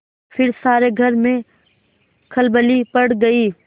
फिर सारे घर में खलबली पड़ गयी